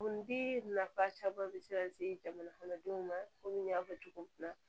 Kundi nafa caman be se ka se jamana kɔnɔdenw ma komi n y'a fɔ cogo min na